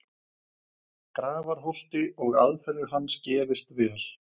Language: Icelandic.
Grafarholti og aðferðir hans gefist vel.